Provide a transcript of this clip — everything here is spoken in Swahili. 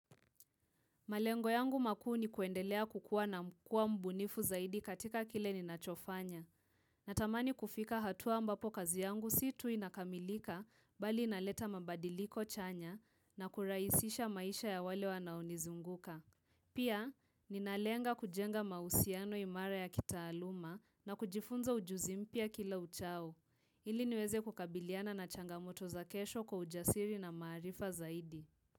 Malengo yangu makuu ni kuendelea kukuwa na kuwa mbunifu zaidi katika kile ninachofanya. Natamani kufika hatua ambapo kazi yangu si tu inakamilika bali inaleta mabadiliko chanya na kurahisisha maisha ya wale wanaonizunguka. Pia, ninalenga kujenga mahusiano imara ya kitaaluma na kujifunza ujuzi mpya kila uchao. Ili niweze kukabiliana na changamoto za kesho kwa ujasiri na maarifa zaidi.